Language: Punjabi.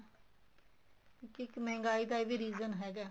ਇੱਕ ਮਹਿੰਗਾਈ ਦਾ ਇਹ ਵੀ region ਹੈਗਾ ਏ